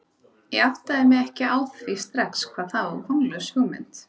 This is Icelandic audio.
Ég áttaði mig ekki á því strax hvað það var vonlaus hugmynd.